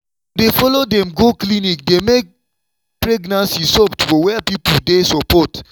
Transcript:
to dey follow dem go clinic dey make pregnancy soft for where people dey support.